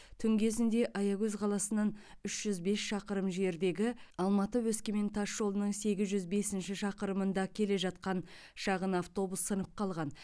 түн кезінде аягөз қаласынан үш жүз бес шақырым жердегі алматы өскемен тасжолының сегіз жүз бесінші шақырымында келе жатқан шағын автобус сынып қалған